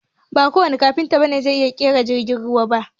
Ba kowanne Kafinta ne zai iya ƙera jirgin ruwa ba